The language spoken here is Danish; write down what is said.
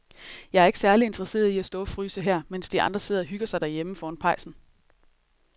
Jeg er ikke særlig interesseret i at stå og fryse her, mens de andre sidder og hygger sig derhjemme foran pejsen.